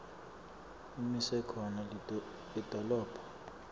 imise khona lidolobha